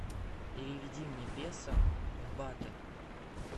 переведи мне песо в баты